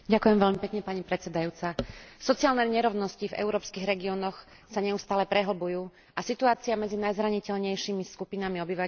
Sociálne nerovnosti v európskych regiónoch sa neustále prehlbujú a situácia medzi najzraniteľnejšími skupinami obyvateľov Únie sa zo dňa na deň zhoršuje.